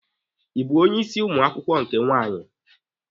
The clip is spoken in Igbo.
Ị bụ onye ịsị ụmụ akwụkwọ nke nwaanyị?